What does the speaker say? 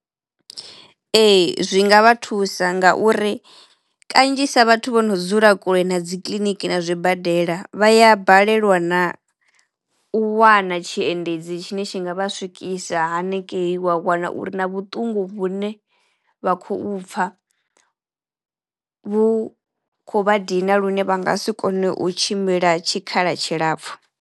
Ee zwi nga vha thusa ngauri kanzhisa vhathu vho no dzula kule na dzi kiḽiniki na zwibadela vha ya balelwa na u wana tshiendedzi tshine tshi nga vha swikisa haningei. Wa wana uri na vhuṱungu vhune vha khou pfha vhu kho vha dina lune vha nga si kone u tshimbila tshikhala tshilapfhu.